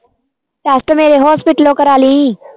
test ਮੇਰੇ hospital ਕਰਾਲੀ